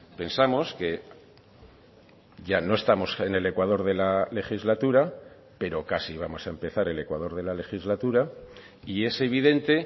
pensamos que ya no estamos en el ecuador de la legislatura pero casi vamos a empezar el ecuador de la legislatura y es evidente